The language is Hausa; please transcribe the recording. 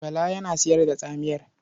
Bala yana sayar da tsamiyar.